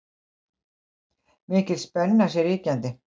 Mikil spenna sé ríkjandi